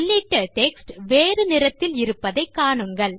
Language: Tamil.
உள்ளிட்ட டெக்ஸ்ட் வேறு நிறத்தில் இருப்பதை காணுங்கள்